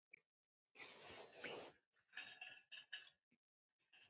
Blessuð sé minning Sofíu Erlu.